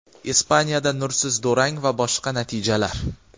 Ispaniyada nursiz durang va boshqa natijalar.